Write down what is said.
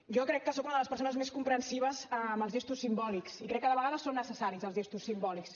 jo crec que soc una de les persones més comprensives amb els gestos simbòlics i crec que de vegades són necessaris els gestos simbòlics